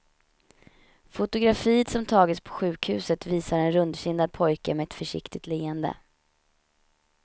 Fotografiet som tagits på sjukhuset visar en rundkindad pojke med ett försiktigt leende.